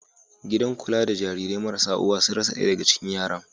Gidan kula da Jarirai marasa uwa sun rasa ɗaya daga cikin yaran.